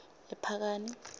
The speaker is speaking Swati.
ephakani